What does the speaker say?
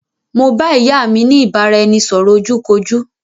Mo bá ìyá mi ni ìbáraẹnisọ̀rọ̀ ojú kojú